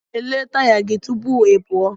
Lelee taya gị tupu ị pụọ!